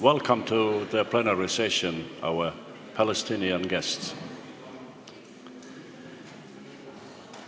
Welcome to the plenary session, our palestinian guests!